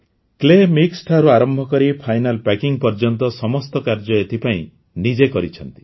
clay ମିକ୍ସିଠାରୁ ଆରମ୍ଭକରି final packing ପର୍ଯ୍ୟନ୍ତ ସମସ୍ତ କାର୍ଯ୍ୟ ଏହିପାଇଁ କରିଛନ୍ତି